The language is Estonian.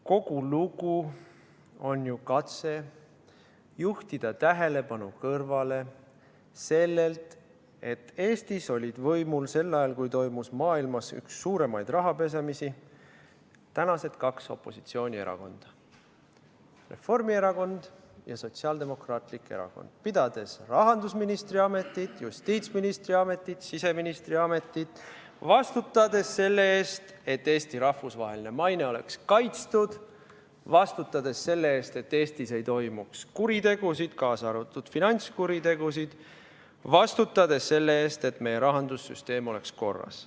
Kogu lugu on ju katse juhtida tähelepanu kõrvale sellelt, et Eestis olid võimul sel ajal, kui toimus maailmas üks suurimaid rahapesemisi, tänased kaks opositsioonierakonda: Reformierakond ja Sotsiaaldemokraatlik Erakond, pidades rahandusministri ametit, justiitsministri ametit, siseministri ametit, vastutades selle eest, et Eesti rahvusvaheline maine oleks kaitstud, vastutades selle eest, et Eestis ei toimuks kuritegusid, kaasa arvatud finantskuritegusid, vastutades selle eest, et meie rahandussüsteem oleks korras.